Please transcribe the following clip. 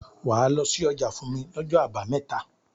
Wàá lọ sí ọjà fún mi lọ́jọ́ àbámẹ́ta.